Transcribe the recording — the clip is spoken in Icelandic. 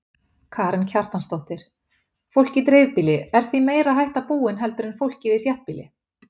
Karen Kjartansdóttir: Fólk í dreifbýli, er því meiri hætta búin heldur en fólkið í þéttbýli?